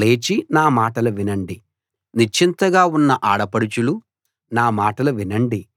లేచి నా మాటలు వినండి నిశ్చింతగా ఉన్న ఆడపడుచులు నా మాటలు వినండి